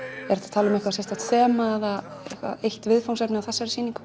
tala um eitthvað sérstakt þema eða eitt viðfangsefni á þessari sýningu